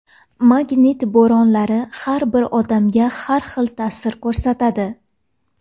Magnit bo‘ronlari har bir odamga har xil ta’sir ko‘rsatadi.